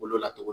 Bolo la tugun